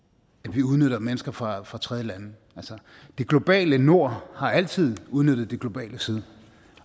vi udnytter mennesker fra fra tredjelande altså det globale nord har altid udnyttet det globale syd